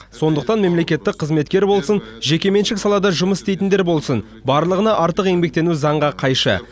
сондықтан мемлекеттік қызметкер болсын жекеменшік салада жұмыс істейтіндер болсын барлығына артық еңбектену заңға қайшы